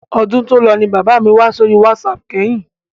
Ọdún tòlọ ni bàbá mi wá sí orí wásaàpù kẹ́yìn.